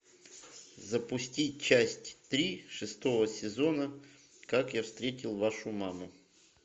запусти часть три шестого сезона как я встретил вашу маму